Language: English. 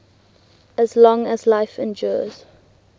as long as life endures